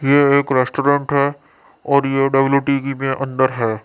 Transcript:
ये एक रेस्टोरेंट है और ये डब्ल्यू टीगी में अंदर है।